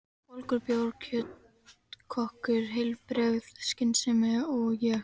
Volgur bjór, kjötkökur, heilbrigð skynsemi og ég.